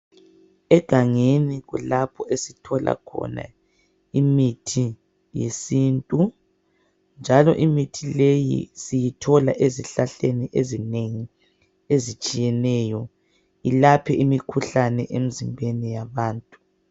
Egangeni kulapho esithola khona imithi yesintu njalo imithi leyi siyithola ezihlahleni ezinengi ezitshiyeneyo ilaphe imikhuhlane emizimbeni yabantu.